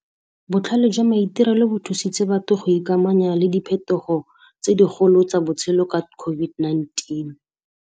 Botlhale jwa maitirelo bo thusitse batho go ikamanya le diphetogo tse di golo tsa botshelo ka COVID-19.